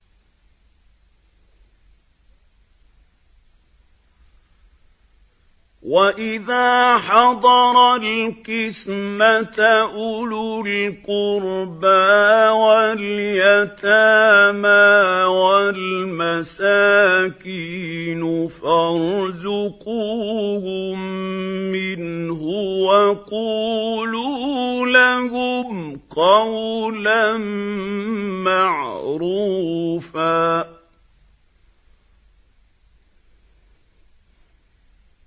وَإِذَا حَضَرَ الْقِسْمَةَ أُولُو الْقُرْبَىٰ وَالْيَتَامَىٰ وَالْمَسَاكِينُ فَارْزُقُوهُم مِّنْهُ وَقُولُوا لَهُمْ قَوْلًا مَّعْرُوفًا